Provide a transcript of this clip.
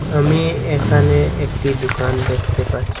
আমি এখানে একটি দোকান দেখতে পাচ্ছি।